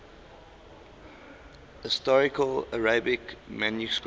historical arabic manuscripts